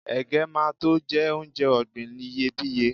ẹgẹ ma to je onje ògbìn iyebiye